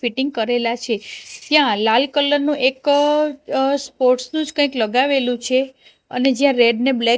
fitting કરેલા છે ત્યાં લાલ કલર નું એક અ સ્પોર્ટ્સ નું જ કાંઈક લગાવેલું છે અને જ્યાં રેડ ને બ્લેક --